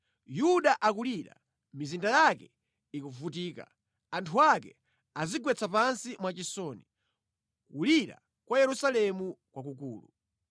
“Yuda akulira, mizinda yake ikuvutika; anthu ake adzigwetsa pansi mwachisoni, kulira kwa Yerusalemu kwakula.